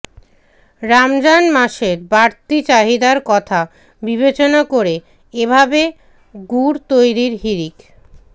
রমজান মাসের বাড়তি চাহিদার কথা বিবেচনা করে এভাবে গুড় তৈরির হিড়িক